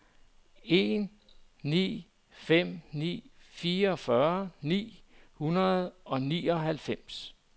en ni fem ni fireogfyrre ni hundrede og nioghalvfems